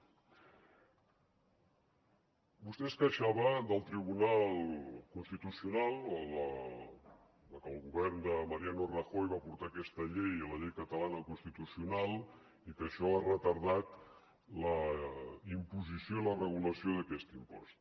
vostè es queixava del tribunal constitucional o de que el govern de mariano rajoy va portar aquesta llei la llei catalana al constitucional i que això ha retardat la imposició i la regulació d’aquest impost